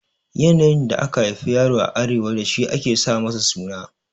Yanayin da aka haifi yaro a Arewa dashi ake sa masa suna